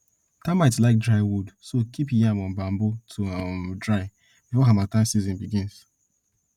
termites like dry wood so keep yam on bamboo to um dry before harmattan season begins